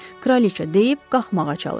Kraliçə deyib qalxmağa çalışdı.